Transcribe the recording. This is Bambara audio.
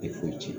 Tɛ foyi tiɲɛ